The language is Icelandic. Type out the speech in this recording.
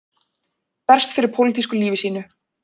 Berst fyrir pólitísku lífi sínu